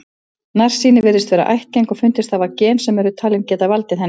Nærsýni virðist vera ættgeng og fundist hafa gen sem eru talin geta valdið henni.